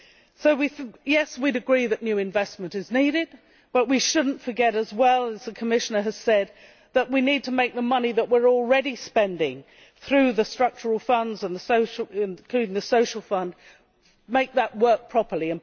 So, yes, we would agree that new investment is needed, but we should not forget as the Commissioner has said that we need to make the money that we are already spending through the structural funds including the social fund work properly.